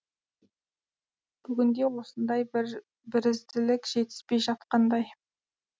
бүгінде осындай бірізділік жетіспей жатқандай